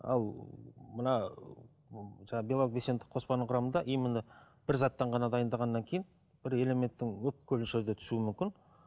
ал мына жаңа белсенді қоспаның құрамында именно бір заттан ғана дайындағаннан кейін бір элементтің мөлшерде түсуі мүмкін